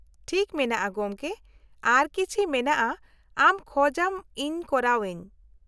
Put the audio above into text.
-ᱴᱷᱤᱠ ᱢᱮᱱᱟᱜᱼᱟ ᱜᱚᱢᱠᱮ, ᱟᱨᱚ ᱠᱤᱪᱷᱤ ᱢᱮᱱᱟᱜᱼᱟ ᱟᱢ ᱠᱷᱚᱡ ᱟᱢ ᱤᱧ ᱠᱚᱨᱟᱣ ᱟᱹᱧ ?